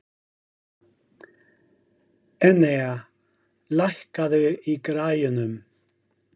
Enea, lækkaðu í græjunum.